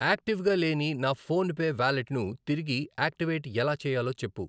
యాక్టివ్గా లేని నా ఫోన్ పే వాలెట్ను తిరిగి యాక్టివేట్ ఎలా చేయాలో చెప్పు.